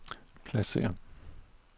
pladsér